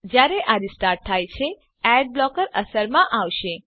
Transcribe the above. જયારે આ રીસ્ટાર્ટ થાય છે એડ બ્લોકર અસરમાં આવશે